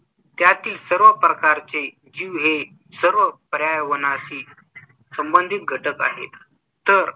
त्यातील सर्व प्रकारचे जीव हे सर्व पर्यावरणाशी संबंधित घटक आहेत. तर